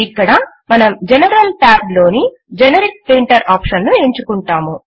ఇక్కడ మనం general Tab లోని జెనెరిక్ ప్రింటర్ ఆప్షన్ ను ఎంచుకుంటాము